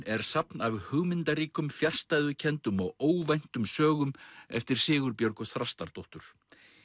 er safn af hugmyndaríkum fjarstæðukenndum og óvæntum sögum eftir Sigurbjörgu Þrastardóttur